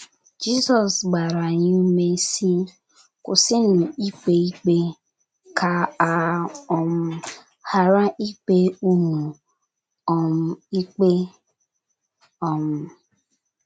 Jizọs gbara anyị ume, sị: “ Kwụsịnụ ikpe ikpe, ka a um ghara ikpe unu um ikpe. ” um